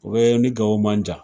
O bɛ ni Gawo man jan